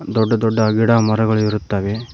ದೊಡ್ಡ ದೊಡ್ಡ ಗಿಡ ಮರಗಳ ಇರುತ್ತವೆ.